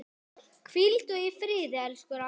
Hvíldu í friði, elsku Ragga.